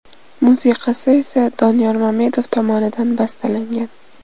Musiqasi esa Doniyor Mamedov tomonidan bastalangan.